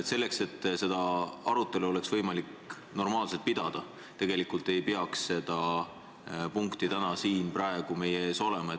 Selleks, et seda arutelu oleks võimalik normaalselt pidada, ei peaks seda punkti täna siin meie ees olema.